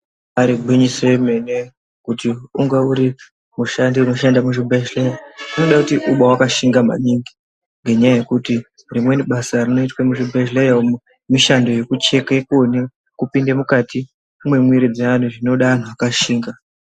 Ibari gwinyiso yemene kuti munge urimushansi inoshande muzvibhedhlera zvinoda kuti ungewakashinga maningi ngenyaya yekuti rimweni basa rinoitwa muzvibhedhlera umu mishando yekucheke kuone kupinda mukati mwemwiri dzeantu zvinoda antu akashinga.